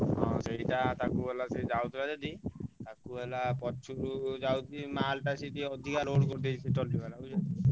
ହଁ ସେଇଟା ତାକୁ ହେଲା ସେ ଯାଉଥିଲା ସେଠୀ ତାକୁ ହେଲା ପଚାରୁ ଯାଉଥିଲା ମାଲ ତ ସେଠି ଅଧିକ load କରିଛି ସେଇ ଟଲି ବାଲା ବୁଝିଲ ନାଁ?